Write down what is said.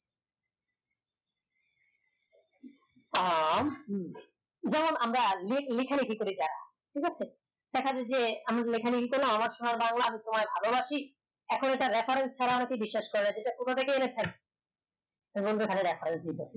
আ ম যেমন আমরা লে লেখা লেখি করি ঠিক আছে তাকালে যে আমি কি করলাম আমার সোনার বাংলা আমি তোমায় ভালো বাসি এখন এটা recode ছাড়া আর কি বিশ্বাস কার কোথা থেকে এনেছেন এ বলতে পারে